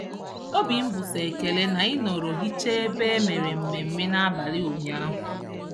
Obi m bụ sọ ekele na I nọrọ hichaa ebe e mere mmemme n'abalị ụnyaahụ